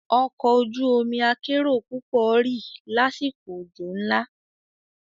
Ọkọ̀ ojú omi akérò púpọ̀ rì lásìkò òjò ńlá.